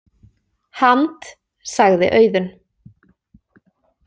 Hand-, sagði Auðunn.